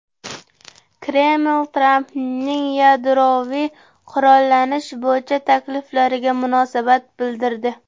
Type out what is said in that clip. Kreml Trampning yadroviy qurollanish bo‘yicha takliflariga munosabat bildirdi.